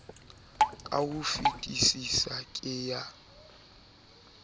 ka ho fetesisa ke ya